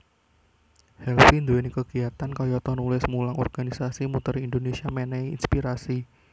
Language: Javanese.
Helvy nduweni kegiatan kayata nulis mulang organisasi muteri Indonesia menehi inspirasi